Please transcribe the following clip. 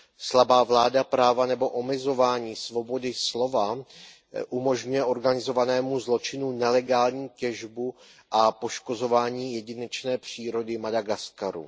Slabá vláda práva nebo omezování svobody slova umožňuje organizovanému zločinu nelegální těžbu a poškozování jedinečné přírody Madagaskaru.